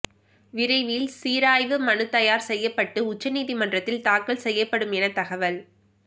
விரைவில் சீராய்வு மனு தயார் செய்யப்பட்டு உச்சநீதிமன்றத்தில் தாக்கல் செய்யப்படும் எனத் தகவல்